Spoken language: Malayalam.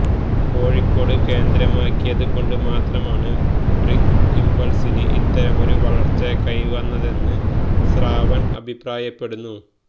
കോഴിക്കോട് കേന്ദ്രമാക്കിയത് കൊണ്ട് മാത്രമാണ് ബ്രിങ്ക് ഇംപൾസിന് ഇത്തരമൊരു വളർച്ച കൈവന്നതെന്ന് ശ്രാവൺ അഭിപ്രായപ്പെടുന്നു